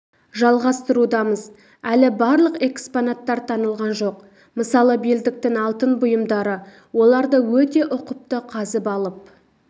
жалғастырудамыз әлі барлық экспонаттар танылған жоқ мысалы белдіктің алтын бұйымдары оларды өте ұқыпты қазып алып